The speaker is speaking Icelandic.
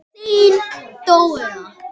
Þín Dóra.